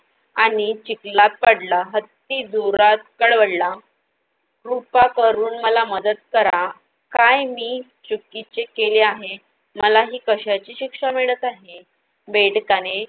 आणि चिखलात पडला. हत्ती जोरात कळवळला. कृपा करून मला मदत करा, काय मी चुकीचे केले आहे? मला ही कशाची शिक्षा मिळत आहे? बेडकाने